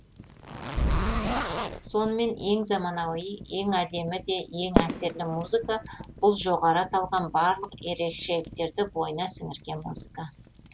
сонымен ең заманауи ең әдемі де ең әсерлі музыка бұл жоғары аталған барлық ерекшеліктерді бойына сіңірген музыка